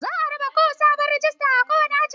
Za a raba sabon rijista a kowane aji.